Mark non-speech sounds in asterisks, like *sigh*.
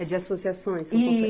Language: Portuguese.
É de associações? *unintelligible* I